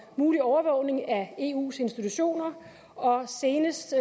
mulig overvågning af eus institutioner og senest